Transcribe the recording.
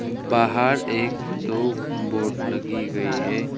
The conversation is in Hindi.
बाहर एक दो बोर्ड लगी गई है।